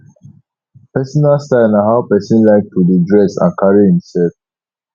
personal style na how pesin like to dey dress and carry imself